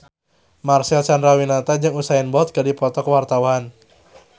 Marcel Chandrawinata jeung Usain Bolt keur dipoto ku wartawan